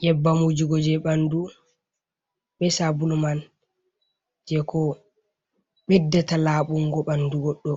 Nyebbam wujugo jei ɓandu, be sabulu man, jei ko ɓeddata labungo ɓandu goɗɗo,